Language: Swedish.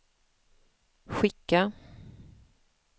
skicka